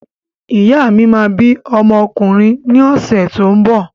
Ìyá mi máa bí ọmọ ọkùnrin ní ọ̀sẹ̀ tó ń bọ̀.